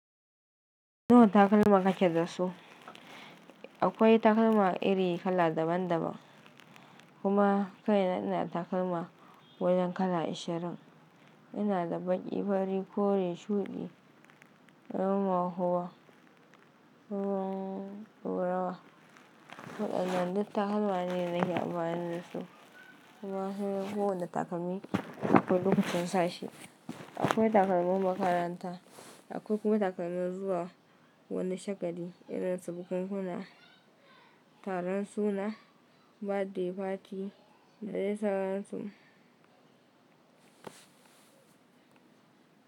Nawa takalma kake da su? Akwai takalma iri kala daban daban, kuma kai na ina takalma wajen kala ashirin. Ina da baƙi, fari, kore, shuɗi, ruwan mahuwa, ruwan rawar. Waɗannan duk takalma ne nake amfani da su. Kuma suna kowane takalmi akwailokacin sa shi. Akwai takalmin makaranta, akwai kuma takalmin zuwa wani shagali irin su bukunkuna, taron suna, birthday party, da dai sauran su.